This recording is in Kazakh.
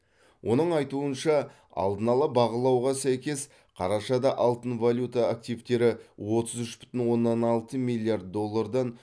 оның айтуынша алдын ала бағалауға сәйкес қарашада алтын валюта активтері отыз үш бүтін оннан алты миллиард доллардан